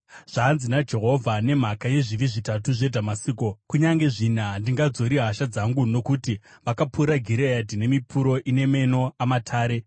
Zvanzi naJehovha: “Nemhaka yezvivi zvitatu zveDhamasiko, kunyange zvina, handingadzori hasha dzangu. Nokuti vakapura Gireadhi nemipuro ina meno amatare,